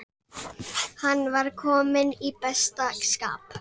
Hann var kominn í besta skap.